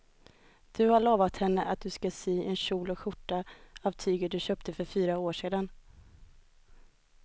Du har lovat henne att du ska sy en kjol och skjorta av tyget du köpte för fyra år sedan.